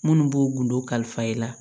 Minnu b'o gundo kalifa i la